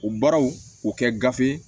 U baaraw o kɛ gafe